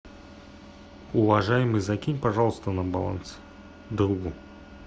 уважаемый закинь пожалуйста на баланс другу